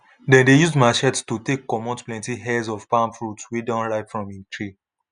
dem dey use matchetes to take comot plenty heads of palm fruit wey don ripe from im tree